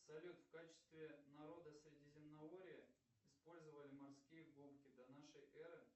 салют в качестве народа средиземноморья использовали морские губки до нашей эры